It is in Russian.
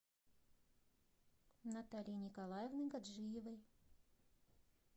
натальи николаевны гаджиевой